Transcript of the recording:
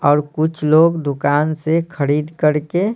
और कुछ लोग दुकान से खड़ीद कड़ के--